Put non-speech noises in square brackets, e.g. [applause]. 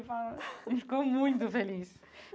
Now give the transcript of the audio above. [unintelligible] Ele ficou muito feliz.